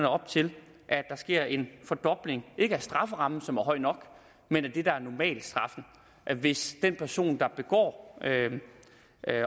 op til at der sker en fordobling ikke af strafferammen som er høj nok men af det der er normalstraffen hvis den person der begår